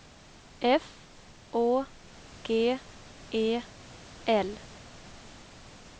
F Å G E L